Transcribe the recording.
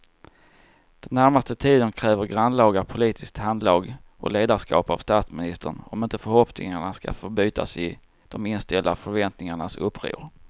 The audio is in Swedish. Den närmaste tiden kräver grannlaga politiskt handlag och ledarskap av statsministern om inte förhoppningarna ska förbytas i de inställda förväntningarnas uppror.